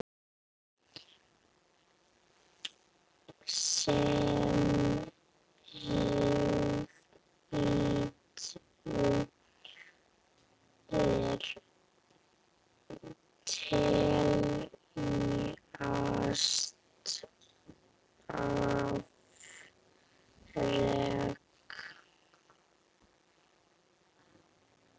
Sem hlýtur að teljast afrek.